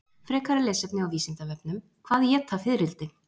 Frekara lesefni á Vísindavefnum: Hvað éta fiðrildi?